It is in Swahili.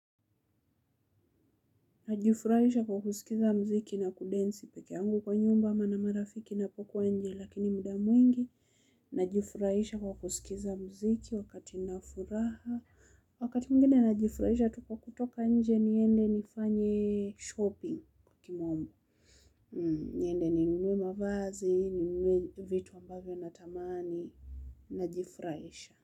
Najifurahisha kwa kusikiza mziki na kudensi pekee yangu kwa nyumba ama na marafiki ninapokua nje lakini muda mwingi. Najifurahisha kwa kusikiza mziki wakati nafuraha. Wakati mwingine najifurahisha tu kwa kutoka nje niende nifanye shopping kwa kimombo. Niende ninue mavazi ninue vitu ambavyo natamani najifurahisha.